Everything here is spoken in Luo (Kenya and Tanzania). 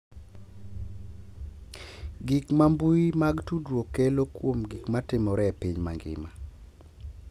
Gik ma mbui mag tudruok kelo kuom gik ma timore e piny mangima